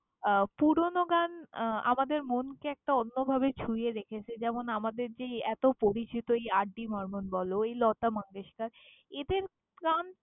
আহ পুরোনো গান আমাদের মনকে একটা অন্যভাবে ছুঁয়ে রেখেছে। যেমন, আমাদের যে এই এত পরিচিত এই আর ডি বর্মন বলো এই লতা মঙ্গেশকার, এদের গান।